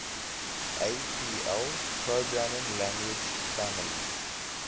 apl programming language family